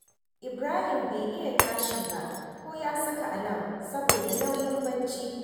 Ibrahim bai iya tashi ko ya saka alam saboda nauyin barci